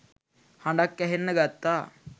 හඬක්‌ ඇහෙන්න ගත්තා.